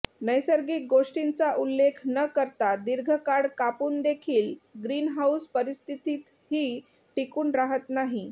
नैसर्गिक गोष्टींचा उल्लेख न करता दीर्घकाळ कापूनदेखील ग्रीन हाऊस परिस्थितीतही टिकून राहत नाही